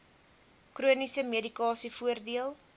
chroniese medikasie voordeel